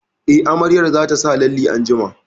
Eh, amaryar za ta sa lalle anjima